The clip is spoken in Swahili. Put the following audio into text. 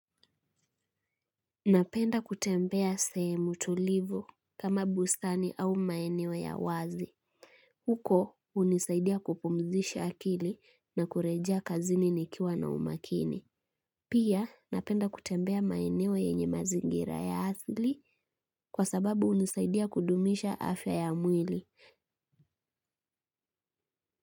Napenda kutembea sehemu tulivu kama bustani au maeneo ya wazi. Huko unisaidia kupumzisha akili na kurejea kazini nikiwa na umakini. Pia napenda kutembea maeneo yenye mazingira ya asli kwa sababu unisaidia kudumisha afya ya mwili.